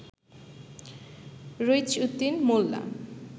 রইছ Uddin মোল্লা